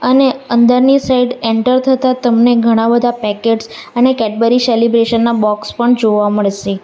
અને અંદરની side enter થતા તમને ઘણા બધા પેકેટ્સ અને કેડબરી સેલિબ્રેશન ના બોક્સ પણ જોવા મળશે.